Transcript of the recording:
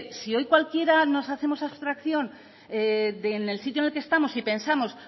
sí hoy cualquiera nos hacemos abstracción en el sitio en el que estamos y pensamos